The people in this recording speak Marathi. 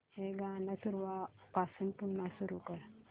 हे गाणं सुरूपासून पुन्हा सुरू कर